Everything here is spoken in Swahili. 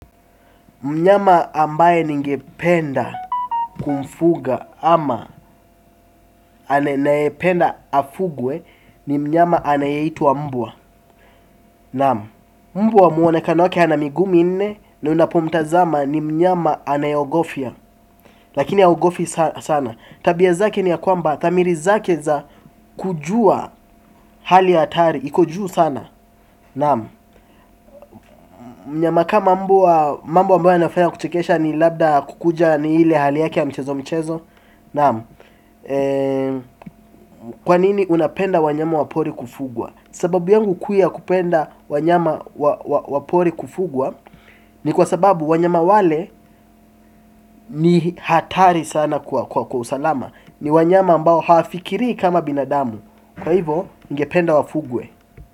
Mnyama ambaye ningependa kumfuga ama anayependa afugwe ni mnyama anayeitwa wa mbwa. Naam. Mbwa muonekano wake ana miguu minne na unapomtazama ni mnyama anayeogofia. Lakini haogofi sana. Tabia zake ni ya kwamba dhamiri zake za kujua hali ya hatari. Iko juu sana. Naam. Mnyama kama mbwa mambo ambayo anafanya kuchekesha ni labda kukuja ni ile hali yake ya mchezo mchezo. Kwa nini unapenda wanyama wapori kufugwa. Sababu yangu kuu ya kupenda wanyama wapori kufugwa ni kwa sababu wanyama wale ni hatari sana kwa kwa usalama. Ni wanyama ambao hawafikiri kama binadamu. Kwa hivo ningependa wafugwe.